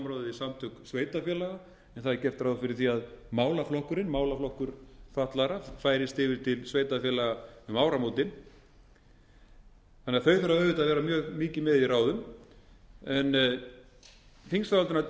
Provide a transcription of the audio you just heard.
samtök sveitarfélaga en það er gert ráð fyrir því að málaflokkurinn málaflokkur fatlaðra færist yfir til sveitarfélaga um áramótin þannig að þau þurfa auðvitað að vera mjög mikið með